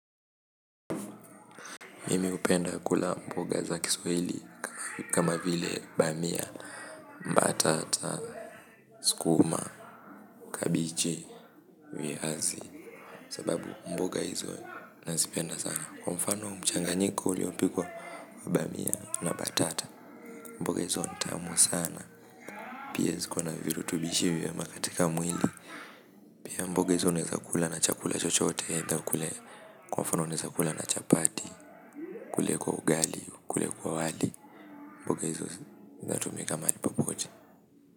Mimi hupenda kula mboga za kiswahili kama vile bamia, mbatata, sukuma, kabichi, viazi sababu mboga hizo nazipenda sana kwa mfano mchanganyiko uliopikwa wa bamia na batata mboga hizo ni tamu sana pia zikona virutubisho vya maana katika mwili pia mboga hizo unaeza kula na chakula chochote kwa mfano unaeza kula na chapati ukule kwa ugali, ukule kwa wali mboga hizo zatumika mahali popote.